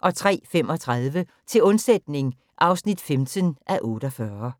03:35: Til undsætning (15:48)